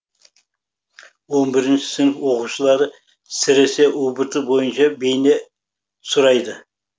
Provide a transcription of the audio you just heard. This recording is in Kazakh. он бірінші сынып оқушылары сіресе ұбт бойынша бейне сұрайды